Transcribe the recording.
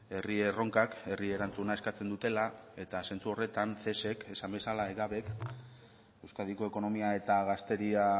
herri erronkak herri erantzuna eskatzen dutela eta sentsu horretan cesek esan bezala egabk euskadiko ekonomia eta gazteria